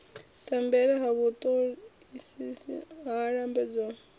tambela ha vhutoisisi ho lambedzwaho